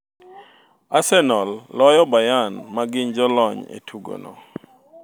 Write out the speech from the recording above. Arsenal loyo Bayern ma gin jo lony e tugo no